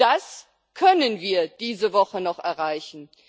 Das können wir diese Woche noch erreichen.